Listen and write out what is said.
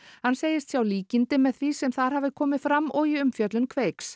hann segist sjá líkindi með því sem þar hafi komið fram og í umfjöllun Kveiks